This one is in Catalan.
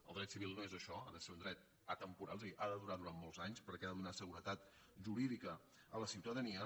el dret civil no és això ha de ser un dret atemporal és a dir ha de durar durant molts anys perquè ha de donar seguretat jurídica a la ciutadania